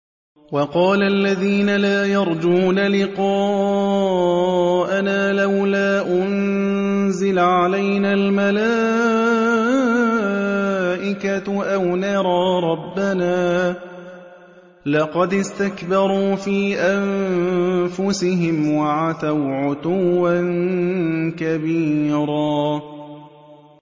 ۞ وَقَالَ الَّذِينَ لَا يَرْجُونَ لِقَاءَنَا لَوْلَا أُنزِلَ عَلَيْنَا الْمَلَائِكَةُ أَوْ نَرَىٰ رَبَّنَا ۗ لَقَدِ اسْتَكْبَرُوا فِي أَنفُسِهِمْ وَعَتَوْا عُتُوًّا كَبِيرًا